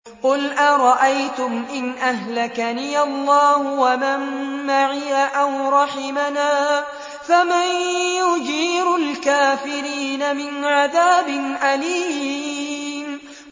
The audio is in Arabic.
قُلْ أَرَأَيْتُمْ إِنْ أَهْلَكَنِيَ اللَّهُ وَمَن مَّعِيَ أَوْ رَحِمَنَا فَمَن يُجِيرُ الْكَافِرِينَ مِنْ عَذَابٍ أَلِيمٍ